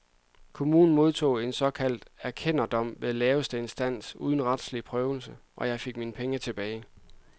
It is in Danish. Kommunen modtog en såkaldt erkenderdom ved laveste instans uden retslig prøvelse, og jeg fik mine penge tilbage.